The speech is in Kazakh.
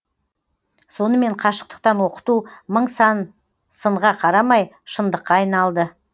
сонымен қашықтықтан оқыту мың сан сынға қарамай шындыққа айналды